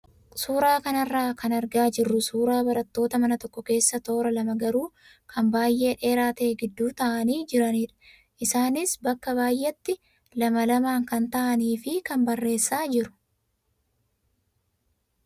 Suuraa kanarraa kan argaa jirru suuraa barattoota mana tokko keessa toora lama garuu kan baay'ee dheeraa ta'e gidduu taa'anii jiranidha. Isaanis bakka baay'eetti lama lamaan kan taa'anii fi kaan barreessaa jiru.